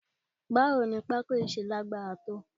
Báwo ni pako yìí ṣe lágbára tó?